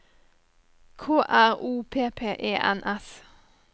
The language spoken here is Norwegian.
K R O P P E N S